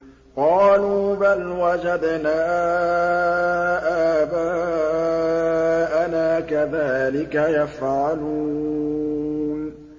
قَالُوا بَلْ وَجَدْنَا آبَاءَنَا كَذَٰلِكَ يَفْعَلُونَ